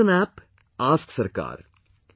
There is an app Ask Sarkar